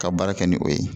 Ka baara kɛ ni o ye